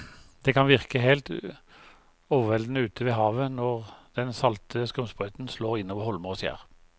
Det kan virke helt overveldende ute ved havet når den salte skumsprøyten slår innover holmer og skjær.